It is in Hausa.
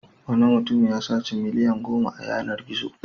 Wani mutum ya saci miliyan goma a yanar-gizo.